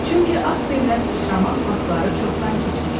Çünki at belinə sıçramaq vaxtları çoxdan keçmişdi.